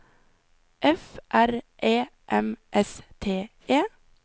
F R E M S T E